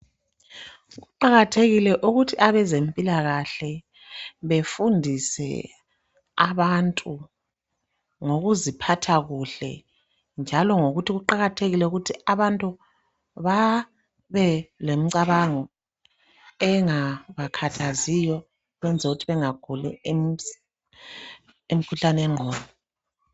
Kuqakathekile ukuthi abezempilakahle befundise abantu ngokuziphatha kuhle njalo ngokuthi kuqakathekile ukuthi abantu babelemicabango engabakhathaziyo ukwenzela ukuthi bengaguli imikhuhlane yengqondo.